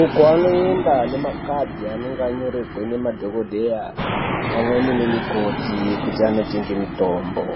Uko vanoenda nemakadhi anenge anyorerwe ngemadhogodheya, pamweni nemikoti kuti anotenge mitombo.